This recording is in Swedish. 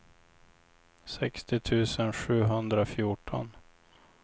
sextio tusen sjuhundrafjorton